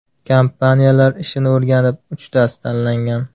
Kompaniyalar ishini o‘rganib, uchtasi tanlangan.